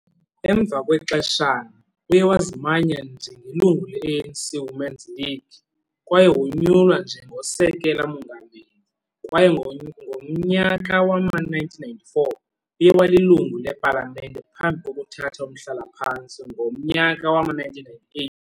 Emva kwexeshana, uye wazimanya njengelungu ne-ANC Women's League, kwaye wonyulwa njengosekela-mongameli, kwaye ngomnyaka wama-1994 uye walilungu lePalamente phambi kokuthatha umhlala-phantsi ngomnyaka wama-1998.